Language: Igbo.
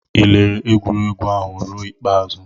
Ị lere egwuregwu ahụ ruo ikpeazụ?